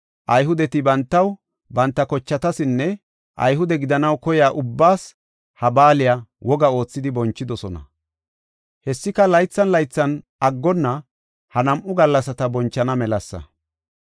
Ayhudeti bantaw, banta kochatasinne Ayhude gidanaw koyiya ubbaas, ha baaliya woga oothidi bonchidosona. Hessika laythan laythan aggonna ha nam7u gallasata bonchana melasa.